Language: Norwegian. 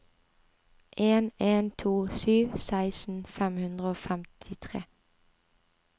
en en to sju seksten fem hundre og femtitre